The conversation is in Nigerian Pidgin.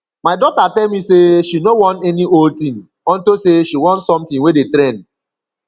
my daughter tell me say she no wan any old thing unto say she want something wey dey trend